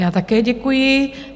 Já také děkuji.